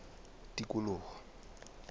tikoloho